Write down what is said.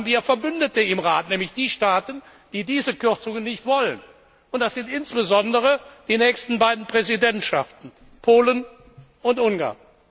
Damit haben wir Verbündete im Rat, nämlich die Staaten, die diese Kürzungen nicht wollen, und das sind insbesondere die nächsten beiden Präsidentschaften, Polen und Ungarn.